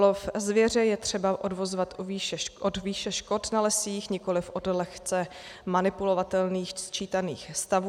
Lov zvěře je třeba odvozovat od výše škod na lesích, nikoliv od lehce manipulovatelných sčítaných stavů.